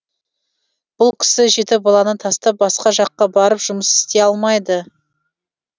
бұл кісі жеті баланы тастап басқа жаққа барып жұмыс істей алмайды